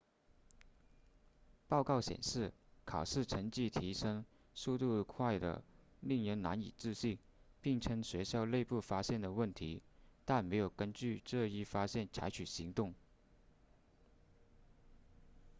报告显示考试成绩提升速度快得令人难以置信并称学校内部发现了问题但没有根据这一发现采取行动